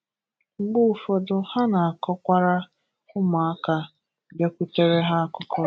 Mgbe ụfọdụ ha na-akọkwara ụmụaka bịakwutere ha akụkọ.